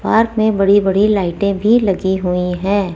Park में बड़ी बड़ी लाइटें भी लगी हुई हैं।